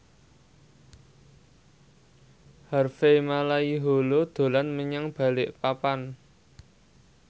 Harvey Malaiholo dolan menyang Balikpapan